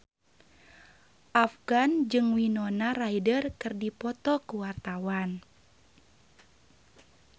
Afgan jeung Winona Ryder keur dipoto ku wartawan